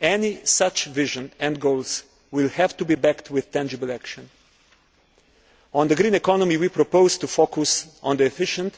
Any such vision and goals will have to be backed with tangible action. On the green economy we propose to focus on the efficient